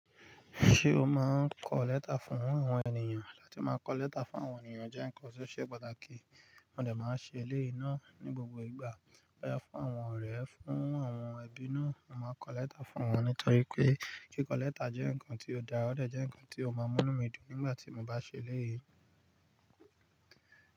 Ṣé o máa ń kọ lẹ́tà fún àwọn ènìyàn? Láti máa kọ lẹ́tà fún àwọn ènìyàn jẹ́ ǹkan tó ṣe pàtàkì. Mo de máa ń ṣe eléyìí náà ní gbogbo ìgbà. Boya fún àwọn ọ̀rẹ́, fún àwọn ẹbí náà, mo máa n kọ lẹ́tà fún wọn nítorí pé kíkọ lẹ́tà jẹ́ ǹkan tí ó da, ó de jẹ́ ǹkan tí ó máa mú ínu mi dùn nígbà tí mo bá ṣe eléyìí.